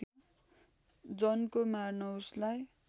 जनको मार्न उसलाई